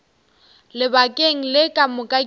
lebakeng le ka moka ke